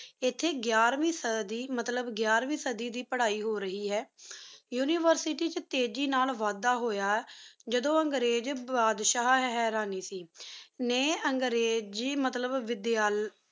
ਇਥੇ ਗ਼ੈਰਵੀਂ ਸਦੀ ਮਤਲੱਬ ਇਥੇ ਗ਼ੈਰਵੀਂ ਸਦੀ ਦੀ ਪੜਾਈ ਹੋ ਰਹੀ ਹੈ University ਚ ਤੇਜੀ ਨਾਲ ਵਾੱਦਾ ਹੋਇਆ ਜਦੋ ਅਬਗਰੇਜ ਬਾਦਸ਼ਾ ਹੈਰਾਨੀਸੀ ਨੇ ਅੰਗਰੇਜ਼ੀ ਮੱਤਲਬ ਵਿਦਿਆਲਾ